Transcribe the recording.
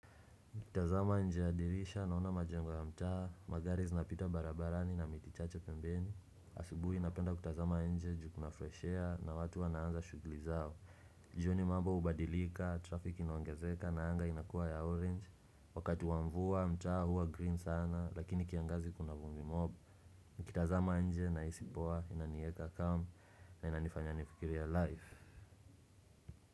Kutazama nje ya dirisha naona majengo ya mtaani, magari zinapita barabarani na miti chache pembeni asubuhi ninapenda kutazama nje ju kuna fresh air na watu wanaanza shughuli zao jioni mambo hubadilika, trafiki inoongezeka na anga inakua ya orange Wakati wa mvua taa huwa green sana lakini kiangazi kuna vumbi mob kutazama nje nahisi poa inanieka calm na inanifanya nifikirie life.